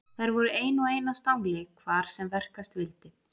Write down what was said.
Þær voru ein og ein á stangli hvar sem verkast vildi.